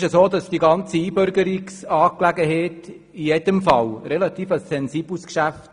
Die ganze Einbürgerungsangelegenheit ist in jedem Fall ein relativ sensibles Geschäft.